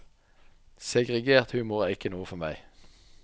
Segregert humor er ikke noe for meg.